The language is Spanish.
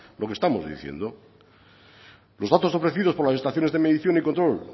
lo que estamos diciendo los datos ofrecidos por las estaciones de medición y control